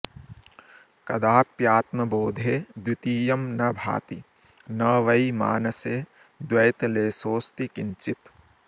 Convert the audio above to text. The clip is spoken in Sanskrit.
कदाप्यात्मबोधे द्वितीयं न भाति न वै मानसे द्वैतलेशोऽस्ति किंचित्